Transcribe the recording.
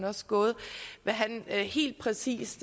også gået helt præcis